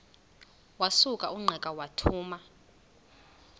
wasuka ungqika wathuma